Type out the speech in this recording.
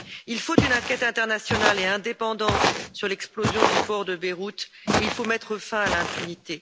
Il faut une enquête internationale et indépendante sur l'explosion du port de Beyrouth et il faut mettre fin à l'impunité.